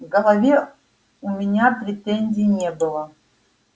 к голове у меня претензий не было